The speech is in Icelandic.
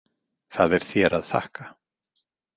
Það er þér að þakka.